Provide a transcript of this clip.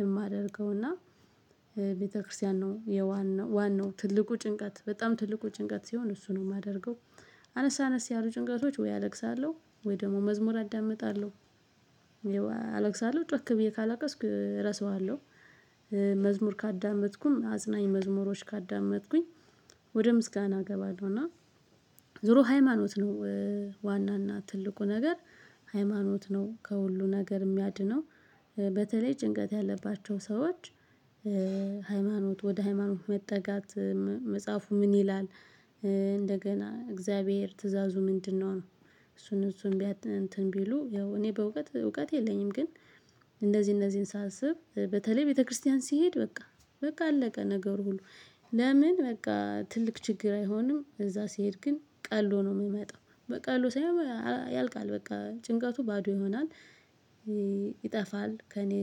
የማደርገው እና ጭንቀት ሲሰማኝ ብዙ ጊዜ የማደርገው መጮህ ነው። እጮሃለሁ በጣም በሃይለኞች እጮሃለሁ ቤታችን ይመቻል ለመጮህ እና በጣም እጮሃለሁ። ሲጮህ ይለቀኛል በጣም ቸርኬሳ ለቅሴ ይለቀኛል። ቤተክርስቲያን ነው የዋን ዋናው ትልቁ ጭንቀት በጣም ትልቁ ጭንቀት ሲሆን እሱ ነው የማደርገው። አነስ አነስ ያሉ ጭንቀቶች ወይ አለቅሳለሁ። ወይ ደግሞ መዝሙር አዳምጣለሁ አነስ አነስ ያሉ ጭንቀቶች ወይ አለቅሳለሁ ወይ ደግሞ መዝሙር አዳምጣለሁ አለቅሳለሁ ጮክ ብዬ ካላቀስኩ እረሳዋለሁ። መዝሙር ካዳመጥኩኝ አጽናኝ መዝሙሮች ካዳመጥኩኝ ወደ ምስጋና እገባለሁና እና። ዞሮ ሃይማኖት ነው። ዋና እና ትልቁ ነገር ሃይማኖት ነው ከሁሉ ነገር የሚያድነው። በተለይ ጭንቀት ያለባቸው ሰዎች። ሃይማኖት ወደ ሃይማኖት መጠጋት። መጽሐፉ ምን ይላል? እንደገና እግዚአብሔር ትእዛዙ ምንድነው ነው? እሱን ያው እኔ በእውቀት እውቀት የለኝም ግን። እንደዚህ እነዚህን ሳስብ በተለይ ቤተክርስቲያን ሲሄድ በቃ። በቃ አለቀ ነገሩ ሁሉ። ለምን በቃ ትልቅ ችግር አይሆንም እዛ ሲሄድ ግን ቀሎ ነው የምመጣው። በቃ ቀሎ ሳይሆን ያልቃል በቃ ጭንቀቱ ባዶ ይሆናል። ይጠፋል። ከእኔ ህይወት። ይጠፋል ጭንቀቴ